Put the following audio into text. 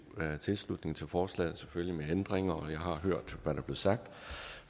tilslutning til forslaget men selvfølgelig med ændringer og jeg har hørt hvad der blev sagt